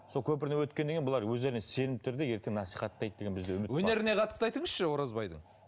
сол көпірден өткеннен кейін бұлар өздеріне сенімді түрде ертең насихаттайды деген бізде үміт бар өнеріне қатысты айтыңызшы оразбайдың